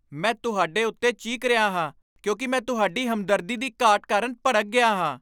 ਮੈਂ ਤੁਹਾਡੇ ਉੱਤੇ ਚੀਕ ਰਿਹਾ ਹਾਂ ਕਿਉਂਕਿ ਮੈਂ ਤੁਹਾਡੀ ਹਮਦਰਦੀ ਦੀ ਘਾਟ ਕਾਰਨ ਭੜਕ ਗਿਆ ਹਾਂ।